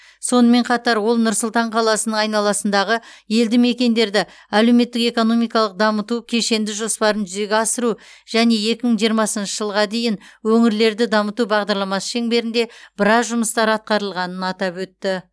сонымен қатар ол нұр сұлтан қаласының айналасындағы елді мекендерді әлеуметтік экономикалық дамыту кешенді жоспарын жүзеге асыру және екі мың жиырмасыншы жылға дейін өңірлерді дамыту бағдарламасы шеңберінде біраз жұмыстар атқарылғанын атап өтті